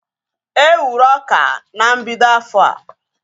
E wuru ọka na mbido afọa